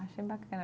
Achei bacana.